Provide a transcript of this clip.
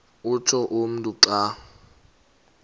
utsho umntu xa